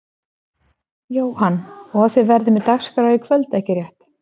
Jóhann: Og þið verðið með dagskrá í kvöld ekki rétt?